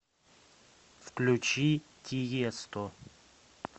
включи тиесто